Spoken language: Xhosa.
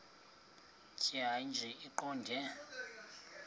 tjhaya nje iqondee